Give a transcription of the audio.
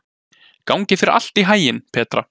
Gangi þér allt í haginn, Petra.